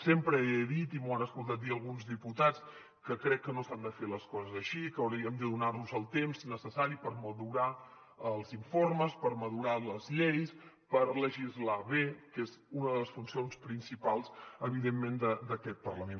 sempre he dit i m’ho han escoltat dir alguns diputat que crec que no s’han de fer les coses així que hauríem de donarnos el temps necessari per madurar els informes per madurar les lleis per legislar bé que és una de les funcions principals evidentment d’aquest parlament